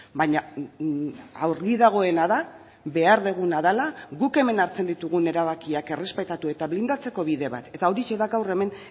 baina argi dagoena da behar duguna dela guk hemen hartzen ditugun erabakiak errespetatu eta blindatzeko bide bat eta horixe da gaur hemen